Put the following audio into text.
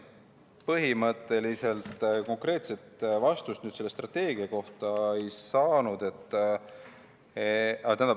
Põhimõtteliselt konkreetset vastust selle strateegia kohta ei saanud.